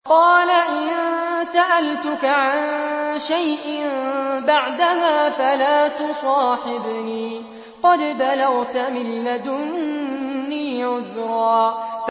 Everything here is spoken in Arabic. قَالَ إِن سَأَلْتُكَ عَن شَيْءٍ بَعْدَهَا فَلَا تُصَاحِبْنِي ۖ قَدْ بَلَغْتَ مِن لَّدُنِّي عُذْرًا